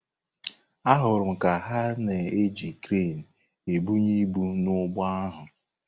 Ahụrụ m ka ha na-eji kreenị ebunye ibu n’ụgbọ ahụ.